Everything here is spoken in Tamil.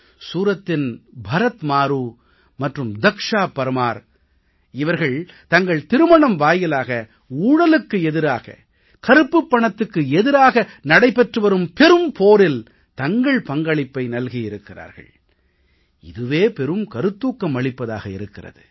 சூரத்தின் பரத் மாரூ மற்றும் தக்ஷா பர்மார் இவர்கள் தங்கள் திருமணம் வாயிலாக ஊழலுக்கு எதிராக கருப்புப் பணத்துக்கு எதிராக நடைபெற்று வரும் பெரும்போரில் தங்கள் பஙக்ளிப்பை நல்கியிருக்கிறார்கள் இதுவே பெரும் கருத்தூக்கம் அளிப்பதாக இருக்கிறது